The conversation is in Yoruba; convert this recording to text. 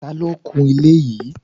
Ta ló kun ilé yìí?